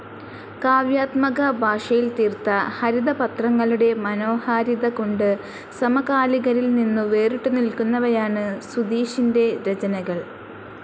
കാവ്യാത്മക ഭാഷയിൽ തീർത്ത ഹരിതപത്രങ്ങളുടെ മനോഹാരിത കൊണ്ട് സമകാലികരിൽ നിന്നു വേറിട്ടുനിൽക്കുന്നവയാണ് സുധീഷിൻറെ രചനകൾ.